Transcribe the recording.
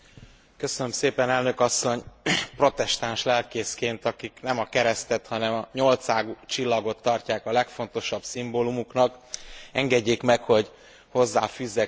Protestáns lelkészként, akik nem a keresztet, hanem a nyolcágú csillagot tartják a legfontosabb szimbólumuknak, engedjék meg, hogy hozzáfűzzek röviden ehhez a vitához valamit.